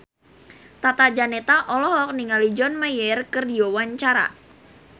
Tata Janeta olohok ningali John Mayer keur diwawancara